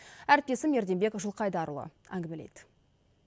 әріптесім ерденбек жылқайдарұлы әңгімелейді